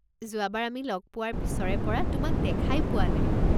যোৱাবাৰ আমি লগ পোৱাৰ পিছৰে পৰা তোমাক দেখাই পোৱা নাই।